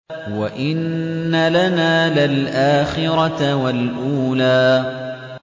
وَإِنَّ لَنَا لَلْآخِرَةَ وَالْأُولَىٰ